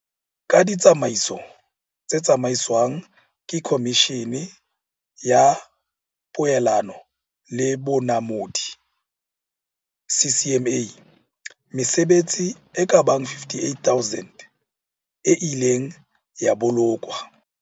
Ka ditsa maiso tse tsamaiswang ke Komishene ya Poelano le Bonamodi, CCMA, mesebetsi e ka bang 58 000 e ileng ya bo lokwa.